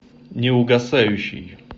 неугасающий